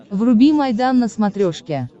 вруби майдан на смотрешке